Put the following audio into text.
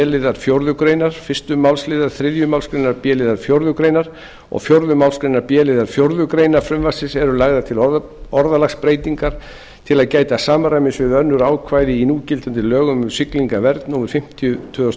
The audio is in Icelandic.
liðar fjórðu grein fyrstu málsl þriðju málsgrein b liðar fjórðu greinar og fjórðu málsgrein b liðar fjórðu grein frumvarpsins eru lagðar til orðalagsbreytingar til að gæta samræmis við önnur ákvæði í núgildandi lögum um siglingavernd númer fimmtíu tvö þúsund